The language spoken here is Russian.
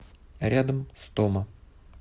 рядом стома